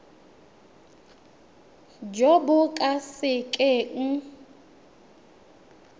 jo bo ka se keng